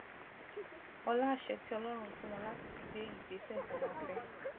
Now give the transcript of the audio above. ọlá àṣẹ tí ọlórun fún wọn láti fi gbé ìgbésè tí wón fé